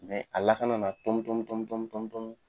a lakana na tɔmi tɔmi tɔmi